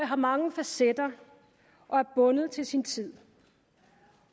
har mange facetter og er bundet til sin tid